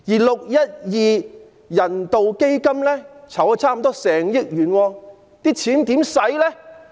612人道支援基金籌集了近1億元。